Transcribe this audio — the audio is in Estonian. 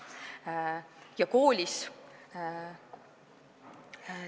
Ja see kooli näide.